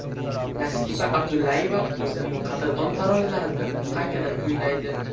Nasiba Abdullayeva o‘zining qadrdon taronalarini qaytadan kuylaydi.